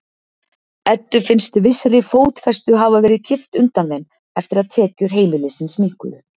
Eddu finnst vissri fótfestu hafa verið kippt undan þeim eftir að tekjur heimilisins minnkuðu.